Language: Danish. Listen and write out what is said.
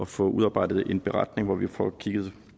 få udarbejdet en beretning hvor vi får kigget